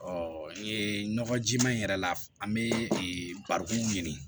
nɔgɔ jiman in yɛrɛ la an be barikonw ɲini